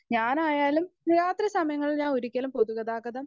speaker 1 ഞാനായാലും രാത്രി സമയങ്ങളിൽ ഞാനൊരിക്കലും പൊതുഗതാഗതം